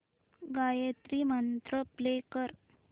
Gayatri mantra play कर